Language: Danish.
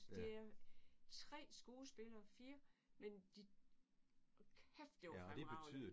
Det er 3 skuespillere 4 men de hold kæft det var fremragende!